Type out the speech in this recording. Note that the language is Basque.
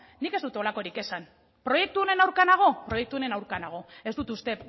nik ez dut holakorik esan proiektu honen aurka nago proiektu honen aurka nago ez dut uste